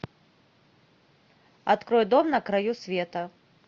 открой дом на краю света